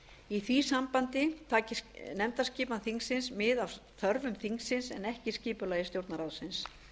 í því sambandi taki nefndaskipan þingsins mið af þörfum þingsins en ekki skipulagi stjórnarráðsins